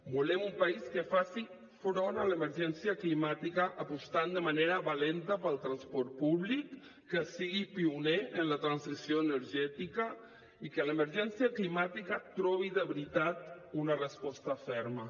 volem un país que faci front a l’emergència climàtica apostant de manera valenta pel transport públic que sigui pioner en la transició energètica i en què l’emergència climàtica trobi de veritat una resposta ferma